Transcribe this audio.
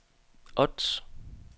Ods